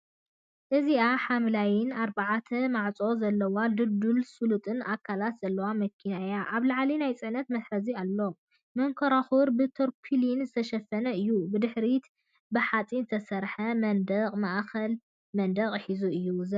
እዚኣ ሓምላይን ኣርባዕተ ማዕጾ ዘለዋን ድልዱልን ስሉጥን ኣካላታ ዘለዋ መኪና እያ። ኣብ ላዕሊ ናይ ጽዕነት መትሓዚ ኣሎ፣ መንኮርኮር ብተርፖሊን ዝተሸፈነ እዩ። ብድሕሪት ብሓጺን ዝተሰርሐ መንደቕን ማእከላይ መንደቕን ሒዙ እዩ ዝረአ።